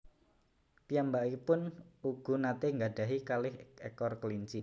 Piyambakipun ugu natè nggadahi kalih ekor kelinci